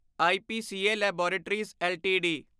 IPCA laboratories LTD